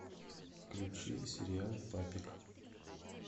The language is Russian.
включи сериал папик